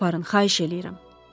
Məni aparın, xahiş eləyirəm.